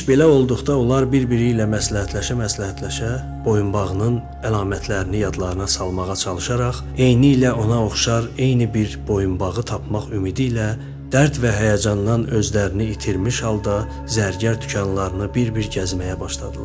İş belə olduqda onlar bir-biri ilə məsləhətləşə-məsləhətləşə, boyunbağının əlamətlərini yadlarına salmağa çalışaraq, eynilə ona oxşar eyni bir boyunbağı tapmaq ümidi ilə dərd və həyəcandan özlərini itirmiş halda zərgər dükanlarını bir-bir gəzməyə başladılar.